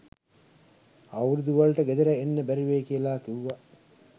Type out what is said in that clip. අවුරුදුවලට ගෙදර එන්න බැරිවෙයි කියාල කිව්වා.